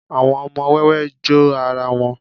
àwọn ọmọ wẹwẹ jó ara wón